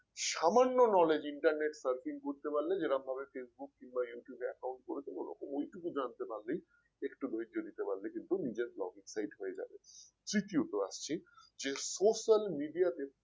সামান্য knowledge internet surfing করতে পারলে যেরমভাবে facebook কিংবা youtube এ account করে দেব ওরকম ওইটুকু জানতে পারলে একটু ধৈর্য দিতে পারলে কিন্তু নিজের Blogging site হয়ে যাবে। তৃতীয়ত আসছি যে social media তে